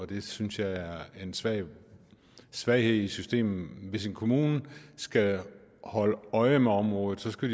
det synes jeg er en svaghed svaghed i systemet hvis en kommune skal holde øje med området skal